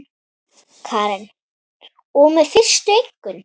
Karen: Og með fyrstu einkunn?